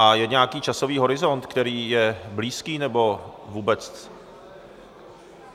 A je nějaký časový horizont, který je blízký... nebo vůbec?